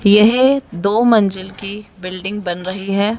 यह दो मंजिल की बिल्डिंग बन रही है।